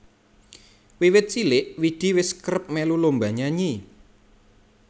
Wiwit cilik Widi wis kerep melu lomba nyanyi